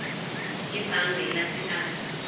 ebhange lase absa